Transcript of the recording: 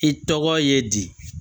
I tɔgɔ ye di